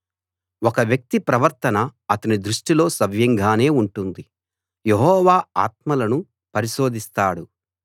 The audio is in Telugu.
ఒక వ్యక్తి ప్రవర్తన అతని దృష్టిలో సవ్యంగానే ఉంటుంది యెహోవా ఆత్మలను పరిశోధిస్తాడు